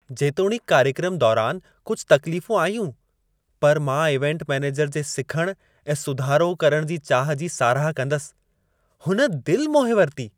जेतोणीकि कार्यक्रम दौरान कुझ तकलीफ़ूं आयूं, पर मां इवेंट मैनेजर जे सिखण ऐं सुधारो करण जी चाह जी साराह कंदसि। हुन दिलि मोहे वरिती।